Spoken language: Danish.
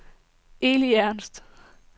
Eli Ernst